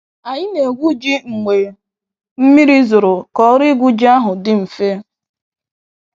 Anyi na egwu ji mgbe mmiri zoro ka ọrụ igwu ji ahụ di mfe.